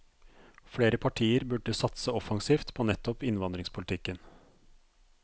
Flere partier burde satse offensivt på nettopp innvandringspolitikken.